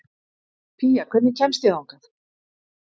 Pía, hvernig kemst ég þangað?